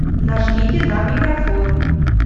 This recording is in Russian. нажмите на микрофон